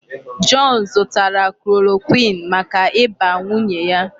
John zụtara chloroquine maka ịba nwunye ya.